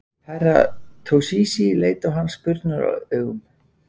Herra Toshizi leit á hann spurnaraugum.